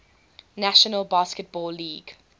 national basketball league